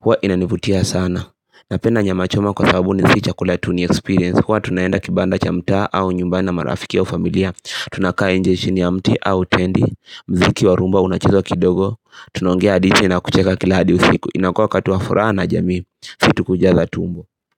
Huwa inanivutia sana Napenda nyama choma kwa sababu si chakula tu niexperience Huwa tunaenda kibanda cha mtaa au nyumbani marafiki wa familia Tunakaa nje chini ya mti au tendi mziki wa rumba unacheze kidogo Tunaongea hadi tena kucheka kila hadi usiku inakua wakati wa furaha na jamii si tu kujaza tumbo.